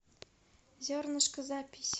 зернышко запись